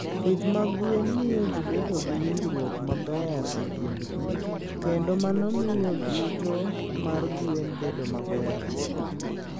Pith mag gwen miyo ji bedo gi winjruok maber e kindgi, kendo mano miyo yuto mar gwen bedo maber.